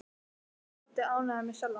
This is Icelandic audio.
Nú er Doddi ánægður með sjálfan sig.